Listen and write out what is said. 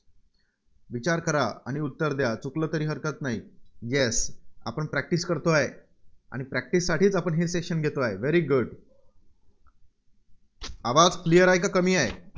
विचार करा, आणि उत्तर द्या. चुकलं तरी हरकत नाही. Yes आपण practice करतो आहे, आणि practice साठीच आपण हे session घेतो आहे. very good आवाज Clear आहे का कमी आहे?